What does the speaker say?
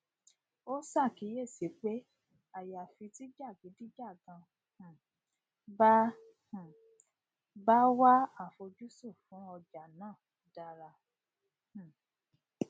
ó ṣàkíyèsí pé àyàfi tí jàgídíjàgan um bá um bá wà àfojúsùn fún ọjà náà dára um